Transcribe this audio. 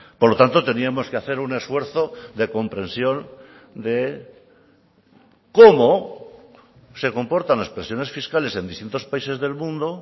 por lo tanto teníamos que hacer un esfuerzo de comprensión de cómo se comportan las presiones fiscales en distintos países del mundo